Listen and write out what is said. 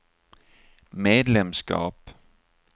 medlemskap